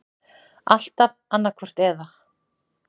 Alltaf annaðhvort eða.